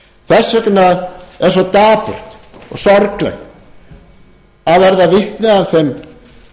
þess vegna er svo dapurt og sorglegt að verða vitni að þeim